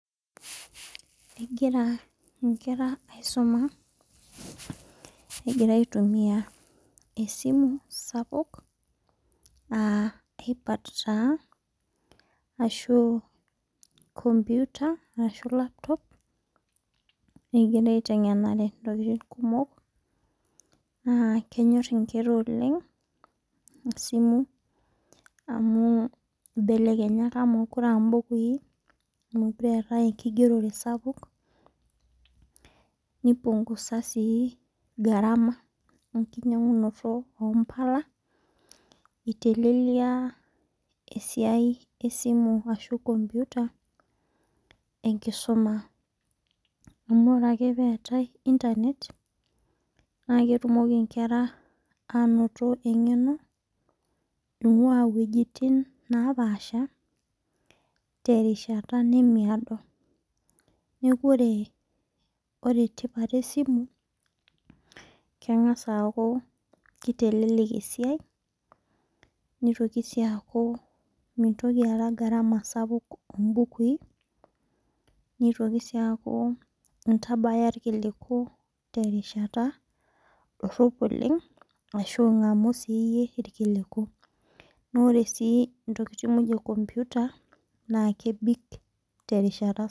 Egira inkera aisumaegiea aitumia esimu sapuk aa ipad taa arshu computer arshu laptop . Egirai aiteng'enare intokitin kumok aa kenyor inkera oleng' isimui belenya ibukuin mokire etae enkigerore sapuk nipngusa sii gharama enkinyang'unoto oo mpala itelelia esiai ee simu arshu computer. Amu ore ake peetae internet naa ketumoki inkera anotk eng'eno ing'ua ewejitin napaasha te rishata temeado. Neeku ore ore tipat esimu kengas eku kitelelek esiai nitoki sii aku meeta gharama sapuk obukuin nitoki saa intabaya ilrkiliku tenkata naishaa. Naa ore sii intokin muj ee computer tee nkata.